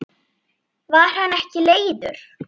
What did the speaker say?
Var hann ekki leiður?